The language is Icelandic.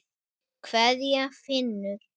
Kveðja, Finnur.